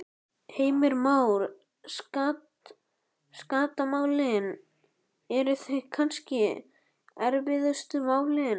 Heimir Már: Skattamálin, eru þau kannski erfiðustu málin?